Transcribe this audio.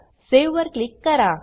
save वर click करा